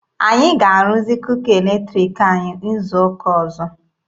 Anyị ga-arụzi kuka eletriki anyị izu ụka ọzọ.